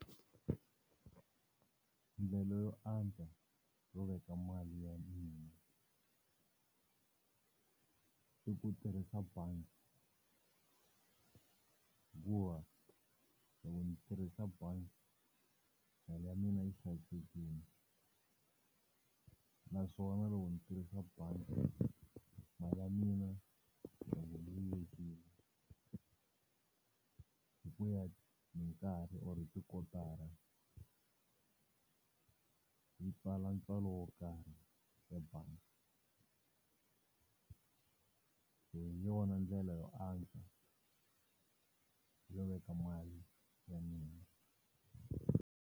Ndlela yo antswa yo veka mali ya mina i ku tirhisa bangi, hikuva loko ni tirhisa bangi mali ya mina yi hlayisekile. Naswona loko ni tirhisa bangi mali ya mina, yi va yi velekile hikuya hi nkarhi or hi tikotara yi ntswala, ntswalo wo karhi ebangi. Hi yona ndlela yo antswa yo veka mali ya mina.